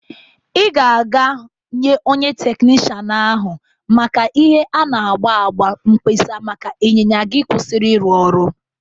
Ị ga-aga nye onye teknishan n'ahụ maka ihe a na-agba agba mkpesa maka ịnyịnya gị kwusiri ịrụ ọrụ.